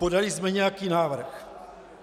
Podali jsme nějaký návrh.